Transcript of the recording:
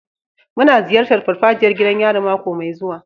Muna ziyartar farfajiyar gidan yari mako mai zuwa.